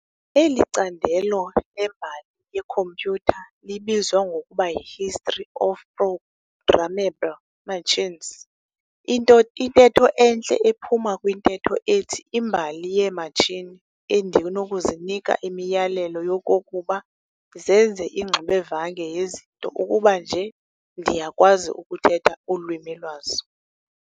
Eli candelo lembali yekhompyutha libizwa ngokuba y"i-history of programmable machines" intetho entle ephuma kwintetho ethi "Imbali yeematshini endinokuzinika imiyalelo yokokuba zenze ingxubevange yezinto ukuba nje ndiyakwazi ukuthetha ulwimi lwazo."